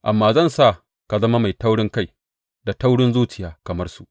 Amma zan sa ka zama mai taurinkai da taurin zuciya kamar su.